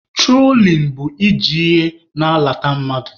Trolin bụ i ji ihe na-alata mmadụ.